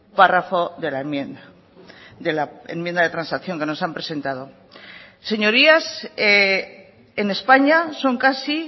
párrafo de la enmienda de la enmienda de transacción que nos han presentado señorías en españa son casi